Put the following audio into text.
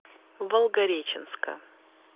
волгореченска